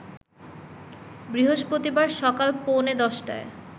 বৃহস্পতিবার সকাল পৌনে ১০টায়